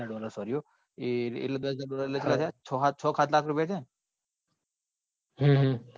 હા હા દસ હાજર dollar sorry હો એ છ કે સાત લાખ રૂપિયા થયા ને? હા હા